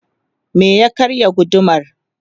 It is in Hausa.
me ya karya gudumar?